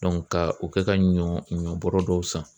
ka o kɛ ka ɲɔ ɲɔbɔrɔ dɔw san.